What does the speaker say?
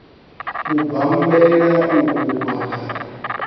u bammbela u fhufha khadi